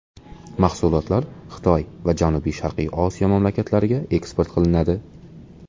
Mahsulotlar Xitoy va Janubi-Sharqiy Osiyo mamlakatlariga eksport qilinadi.